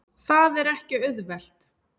Það er ekki auðvelt.